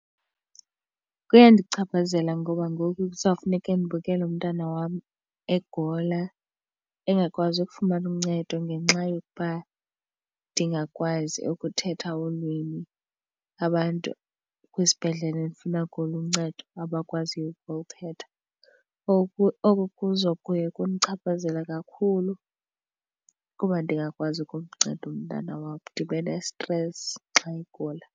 Kuyandichaphazela ngoba ngoku kuzawufuneke ndibukele umntana wam egula engakwazi ukufumana uncedo ngenxa yokuba ndingakwazi ukuthetha ulwimi abantu kwisibhedlele ndifuna kuyo uncedo abakwaziyo ukulithetha. Oku oku kuzo kuya kundichaphazela kakhulu kuba ndingakwazi ukumnceda umntana wam, ndibe nesitresi xa egula.